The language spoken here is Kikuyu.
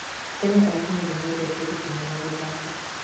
Tene, AKenya nĩ mendete gũtuma na gũthaka.